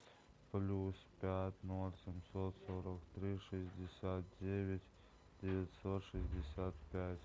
плюс пять ноль семьсот сорок три шестьдесят девять девятьсот шестьдесят пять